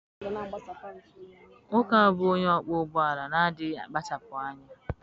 Nwoke a bụ onye ọkpọ ụgbọ ala na adịghị akpachapụ anya.